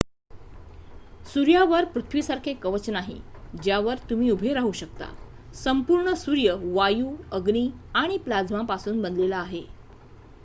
सूर्यावर पृथ्वीसारखे कवच नाही ज्यावर तुम्ही उभे राहू शकता संपूर्ण सूर्य वायू अग्नी आणि प्लाझ्मापासून बनलेला आहे